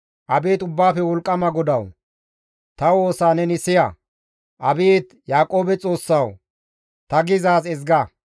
Abeet Ubbaafe Wolqqama GODAWU! Ta woosa neni siya. Abeet Yaaqoobe Xoossawu! Ta gizaaz ezga.